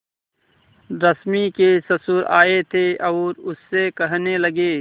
रश्मि के ससुर आए थे और उससे कहने लगे